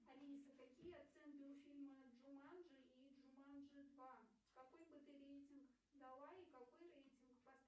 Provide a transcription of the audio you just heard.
алиса какие оценки у фильма джуманджи и джуманджи два какой бы ты рейтинг дала и какой рейтинг